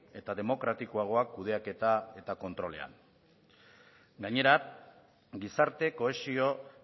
eta demokratikoagoak kudeaketa eta kontrolean gainera gizarte kohesio